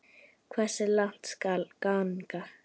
Hversu langt skal ganga?